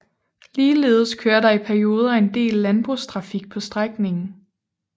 Ligeledes kører der i perioder en del landbrugstrafik på strækningen